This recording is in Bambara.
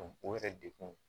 o yɛrɛ dekun